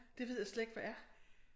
Det ved jeg slet ikke hvad er